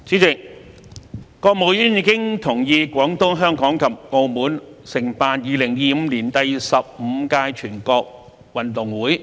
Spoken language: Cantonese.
主席，國務院已同意廣東、香港及澳門承辦2025年第十五屆全國運動會。